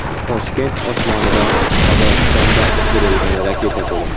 Toshkent osmonida Qozog‘istonda uchirilgan raketa ko‘rindi.